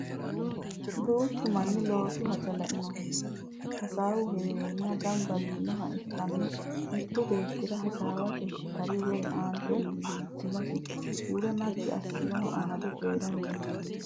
Duuchu manni loosu haja lainohunni hasaawu heerenna gamba yiinoha ikkanna mittu beettira hasaawate tari woyi ante iillitenasi huuro naggi assanoha amade coyiiranni no.